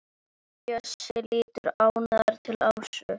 Bjössi lítur ánægður til Ásu.